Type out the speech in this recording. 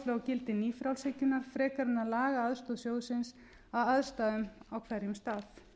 gildi nýfrjálshyggjunnar frekar en að laga aðstoð sjóðsins að aðstæðum á hverjum stað